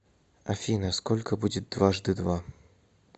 афина сколько будет дважды два